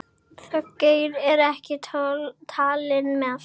Þorgeir er ekki talinn með.